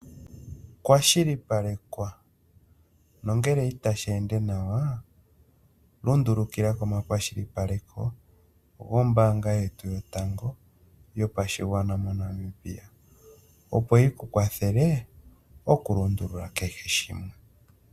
Kwashilipalekwa nongele itashi ende nawa lundulukila komakwashilipaleko goombaanga yetu yotango yopashigwana moNamibia. Opo yi ku kwathele okulongelwa kehe shimwe.